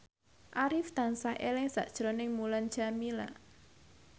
Arif tansah eling sakjroning Mulan Jameela